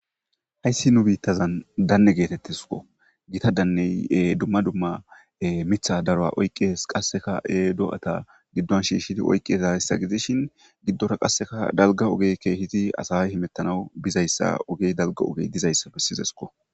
Haysi nu bitazan dane getetesko gita daney duma duma miththa daruwa oyqides hay doa'ta gidon shishidi oyqidaysa gididaysa gidishi gidora qasi dalga oge asay kehi hamitida bizaysi oge dalga ogeka duzaysa besesko